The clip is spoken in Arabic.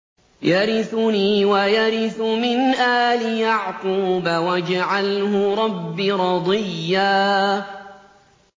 يَرِثُنِي وَيَرِثُ مِنْ آلِ يَعْقُوبَ ۖ وَاجْعَلْهُ رَبِّ رَضِيًّا